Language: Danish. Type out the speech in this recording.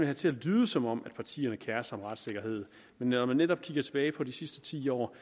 det til at lyde som om partierne kerer sig om retssikkerheden men når man netop kigger tilbage på de sidste ti år